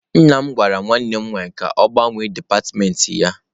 Nna m gwara nwanne m nwaanyị ka ọ gbanwee dipatịmentị ya.